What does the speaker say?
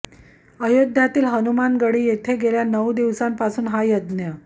अयोध्येतील हनुमानगढी येथे गेल्या नऊ दिवसांपासून हा यज्ञ